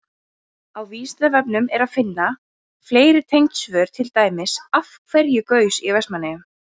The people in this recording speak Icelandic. Á Vísindavefnum er að finna fleiri tengd svör, til dæmis: Af hverju gaus í Vestmannaeyjum?